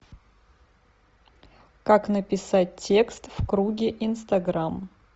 как написать текст в круге инстаграм